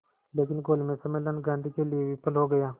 लेकिन गोलमेज सम्मेलन गांधी के लिए विफल हो गया